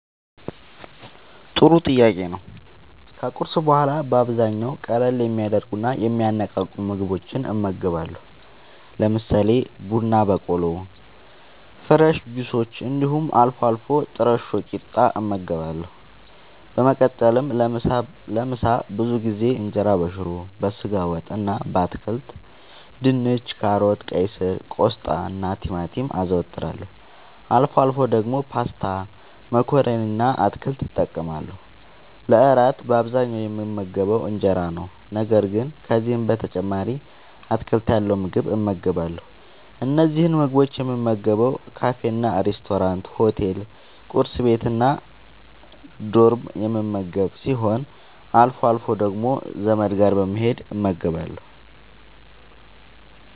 ጥሩ ጥያቄ ነዉ ከቁርስ በኋላ በአብዛኛዉ ቀለል የሚያደርጉና የሚያነቃቁ ምግቦችን እመገባለሁ። ለምሳሌ፦ ቡና በቆሎ፣ ፍረሽ ጁሶች እንዲሁም አልፎ አልፎ ጥረሾ ቂጣ እመገባለሁ። በመቀጠልም ለምሳ ብዙ ጊዜ እንጀራበሽሮ፣ በስጋ ወጥ እና በአትክልት( ድንች፣ ካሮት፣ ቀይስር፣ ቆስጣናቲማቲም) አዘወትራለሁ። አልፎ አልፎ ደግሞ ፓስታ መኮረኒ እና አትክልት እጠቀማለሁ። ለእራት በአብዛኛዉ የምመገበዉ እንጀራ ነዉ። ነገር ግን ከዚህም በተጨማሪ አትክልት ያለዉ ምግብ እመገባለሁ። እነዚህን ምግቦች የምመገበዉ ካፌናሬስቶራንት፣ ሆቴል፣ ቁርስ ቤት፣ እና ዶርም የምመገብ ሲሆን አልፎ አልፎ ደግሞ ዘመድ ጋር በመሄድ እመገባለሁ።